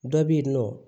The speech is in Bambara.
Dɔ bɛ yen nɔ